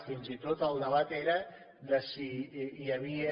fins i tot el debat era de si hi havia